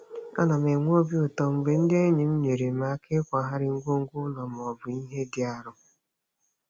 Ana m enwe obi ụtọ mgbe ndị enyi m nyeere m aka n'ịkwagharị ngwongwo ụlọ maọbụ ihe dị arọ.